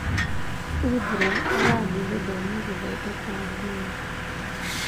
Uthra arathie gũthoma gũthondeka nguo.